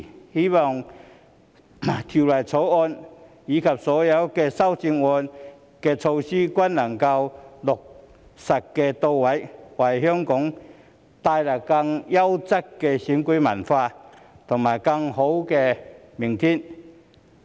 我希望《條例草案》及所有修正案的措施均能落實到位，為香港帶來更優質的選舉文化和更美好的明天。